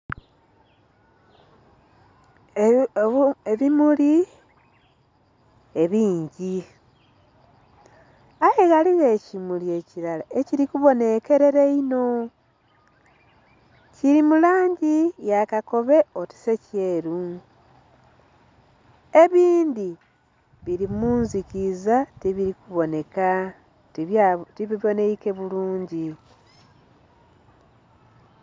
Ebimuli ebingi aye ghaligho ekimuli ekilala ekili ku ebonhekerera einho kili mu langi ya kakobe oti se kyeru, ebindhi bili mundhikiza ti bili ku bonheka tibibonheike bulungi.